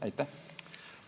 Aitäh!